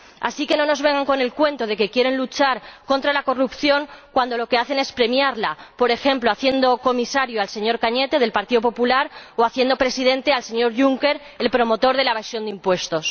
Así que no nos vengan con el cuento de que quieren luchar contra la corrupción cuando lo que hacen es premiarla, por ejemplo haciendo comisario al señor Cañete, del Partido Popular, o haciendo Presidente de la Comisión al señor Juncker, el promotor de la evasión de impuestos.